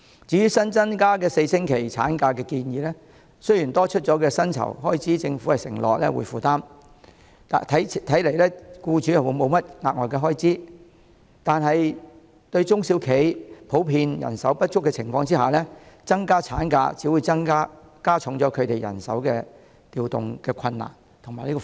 至於新增加4周法定產假的建議，雖然政府承諾負擔多出的薪酬開支，看起來僱主沒有額外支出，但在中小企普遍人手不足的情況之下，增加產假只會加重人手調動的困難及負擔。